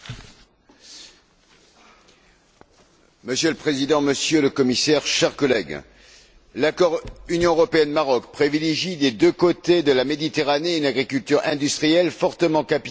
Monsieur le Président, Monsieur le Commissaire, chers collègues, l'accord Union européenne Maroc privilégie des deux côtés de la Méditerranée une agriculture industrielle, fortement capitalisée, aux dépens de l'agriculture familiale et paysanne.